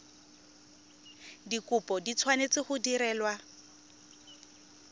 dikopo di tshwanetse go direlwa